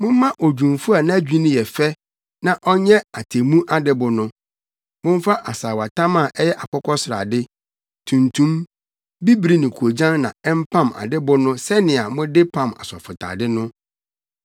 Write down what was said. “Momma odwumfo a nʼadwinni yɛ fɛ na ɔnyɛ atemmu adɛbo no. Momfa asaawatam a ɛyɛ akokɔsrade, tuntum, bibiri ne koogyan na ɛmpam adɛbo no sɛnea mode pam asɔfotade no.